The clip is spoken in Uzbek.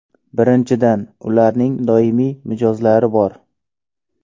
Birinchidan, ularning doimiy mijozlari bor.